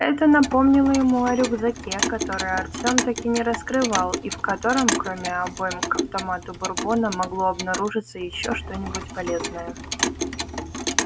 это напомнило ему о рюкзаке который артём так и не раскрывал и в котором кроме обойм к автомату бурбона могло обнаружиться ещё что-нибудь полезное